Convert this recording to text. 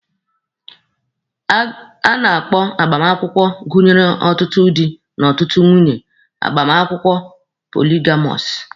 A na-akpọ agbamakwụkwọ gụnyere otu di na ọtụtụ nwunye agbamakwụkwọ poligamọsụ.